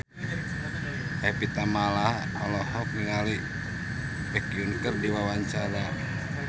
Evie Tamala olohok ningali Baekhyun keur diwawancara